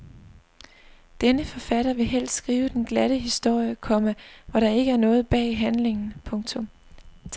Denne forfatter vil helst skrive den glatte historie, komma hvor der ikke er noget bag handlingen. punktum